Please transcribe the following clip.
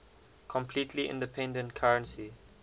completely independent currency